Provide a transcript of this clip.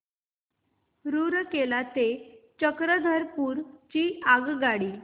रूरकेला ते चक्रधरपुर ची आगगाडी